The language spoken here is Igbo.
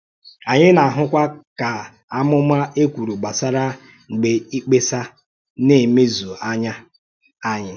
Ànyị na-àhụ̀kwà ka àmùmá e kwùrù gbasàrà “mgbe ìkpèáṣà” na-emèzù n’án̄yà ànyị.